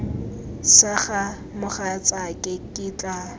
sa ga mogatsaake ke tla